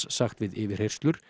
sagt við yfirheyrslur